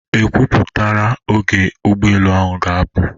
E kwupụtara oge ụgbọelụ ahụ ga-apụ?